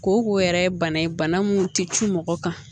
Ko ko yɛrɛ ye bana ye bana mun tɛ cun mɔgɔ kan